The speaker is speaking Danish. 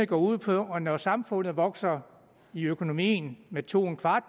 går ud på at når samfundet vokser i økonomien med to